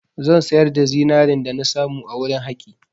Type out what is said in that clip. Zan sayar da zinarin dana samu a wurin haƙi.